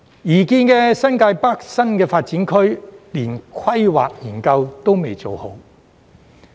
擬建的新界北新發展區，連規劃研究也未做好。